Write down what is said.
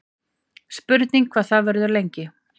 Spurning hvað það verður lengi